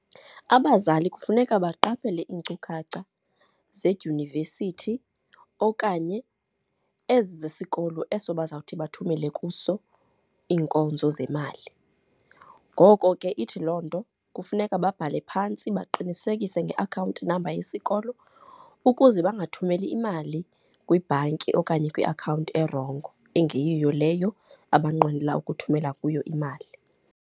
Abazali kufuneka baqaphele iinkcukacha zedyunivesithi okanye ezi zesikolo eso bazawuthi bathumele kuso iinkonzo zemali. Ngoko ke ithi loo nto kufuneka babhale phantsi, baqinisekise ngeakhawunti namba yesikolo ukuze bangathumeli imali kwibhanki okanye kwiakhawunti erongo engeyiyo leyo abanqwenela ukuthumela kuyo imali.